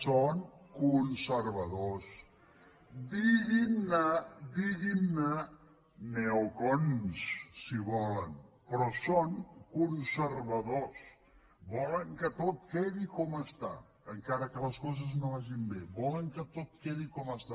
són conservadors diguin ne neocons si volen però són conservadors volen que tot quedi com està encara que les coses no vagin bé volen que tot quedi com està